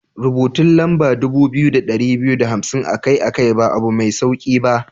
Rubutun lamba dubu biyu da dari biyu da hamsin akai-akai ba abu mai sauki ba.